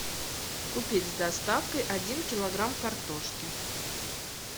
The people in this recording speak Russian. купить с доставкой один килограмм картошки